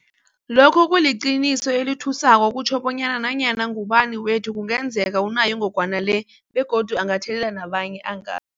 Lokhu kuliqiniso elithusako okutjho bonyana nanyana ngubani wethu kungenzeka unayo ingogwana le begodu angathelela nabanye anga